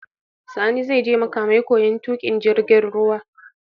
Sani zai je makamai koyan tuƙin jirgin ruwa